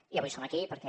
i avui som aquí perquè